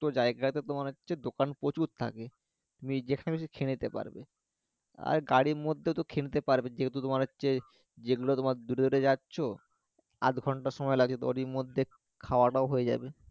জায়গাতে তোমার হচ্ছে দোকান প্রচুর থাকে তুমি যেখানে ইচ্ছে খেয়ে নিতে পারবে আর গাড়ীর মধ্যেও তো খেয়ে নিতে পারবে যেহেতু তোমার হচ্ছে যেগুলো তোমার দূরে দূরে যাচ্ছো আধ ঘন্টা সময় লাগে তো ওরই মধ্যে খাওয়াটাও হয়ে যাবে